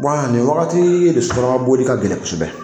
Wa nin wagati de sotaramaboli ka gɛlɛn kosɛbɛ